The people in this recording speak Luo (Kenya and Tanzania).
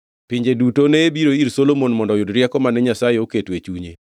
Pinje duto ne biro ir Solomon mondo oyud rieko mane Nyasaye oketo e chunye.